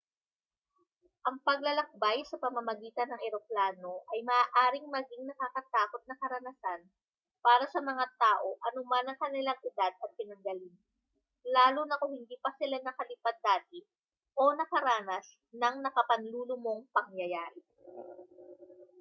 ang paglalakbay sa pamamagitan ng eroplano ay maaaring maging nakakatakot na karanasan para sa mga tao anuman ang kanilang edad at pinanggalingan lalo na kung hindi pa sila nakalipad dati o nakaranas ng nakapanlulumong pangyayari